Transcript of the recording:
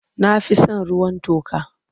Na fi son ruwan toka.